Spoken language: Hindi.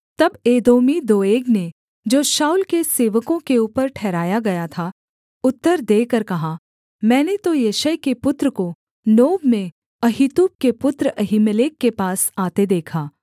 तब एदोमी दोएग ने जो शाऊल के सेवकों के ऊपर ठहराया गया था उत्तर देकर कहा मैंने तो यिशै के पुत्र को नोब में अहीतूब के पुत्र अहीमेलेक के पास आते देखा